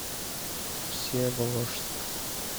всеволожск